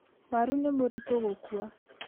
Waru nĩ mũritũ gũkua.